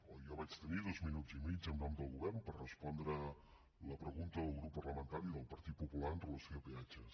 o jo vaig tenir dos minuts i mig en nom del govern per respondre la pregunta del grup parlamentari del partit popular amb relació a peatges